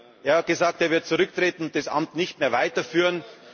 Er hat gesagt, er wird zurücktreten und das Amt nicht mehr weiterführen.